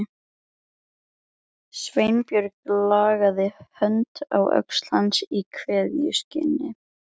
Sveinbjörn lagði hönd á öxl hans í kveðjuskyni.